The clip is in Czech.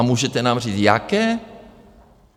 A můžete nám říct jaké?